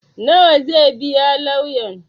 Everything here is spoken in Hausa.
Nawa zaa biya lauyan?